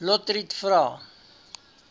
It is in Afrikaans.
lotriet vra